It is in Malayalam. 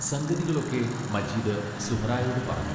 സംഗതികളൊക്കെ മജീദ് സുഹ്റായോടു പറഞ്ഞു.